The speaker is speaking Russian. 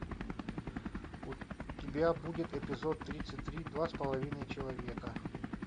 у тебя будет эпизод тридцать три два с половиной человека